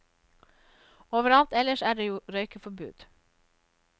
Overalt ellers er det jo røykeforbud.